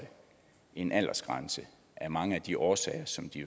en aldersgrænse af mange af de årsager som de